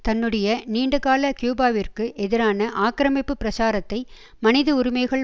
தன்னுடைய நீண்டகால கியூபாவிற்கு எதிரான ஆக்கிரமிப்பு பிரச்சாரத்தை மனித உரிமைகள்